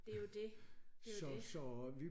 Det jo det det jo det